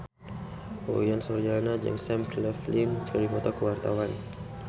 Uyan Suryana jeung Sam Claflin keur dipoto ku wartawan